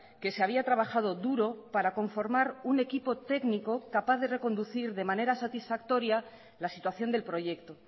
que se había trabajado duro para conformar un equipo técnico capaz de reconducir de manera satisfactoria la situación del proyecto